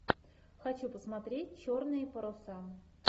хочу посмотреть черные паруса